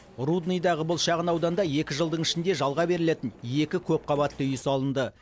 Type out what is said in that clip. рудныйдағы бұл шағын ауданда екі жылдың ішінде жалға берілетін екі көпқабатты үй салынды